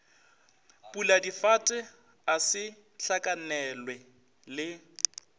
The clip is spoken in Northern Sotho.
puladifate a se hlakanelwe le